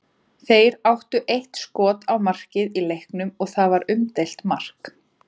Þeir áttu eitt skot á markið í leiknum og það var umdeilt mark.